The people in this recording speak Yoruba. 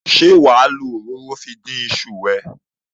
Ṣé wà á lo òróró fi dín iṣu ẹ?